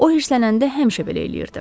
O hirslənəndə həmişə belə eləyirdi.